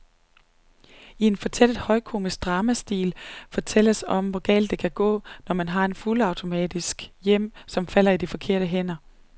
I en fortættet højkomisk dramastil fortælles om, hvor galt det kan gå, når man har et fuldautomatisk hjem, som falder i de forkerte hænder.